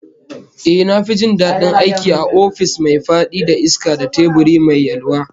Ehh, na fi jin dadin aiki a ofis mai fadi da iska da teburi mai yalwa